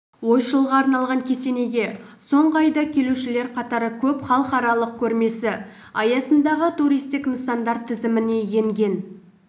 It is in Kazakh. ойшылға арналған кесенеге соңғы айда келушілер қатары көп халықаралық көрмесі аясындағы туристік нысандар тізіміне енген